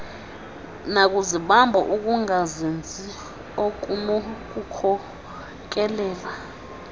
nakuzibamba ukungazinzi okunokukhokelela